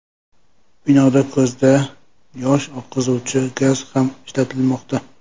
Binoda ko‘zdan yosh oqizuvchi gaz ham ishlatilmoqda.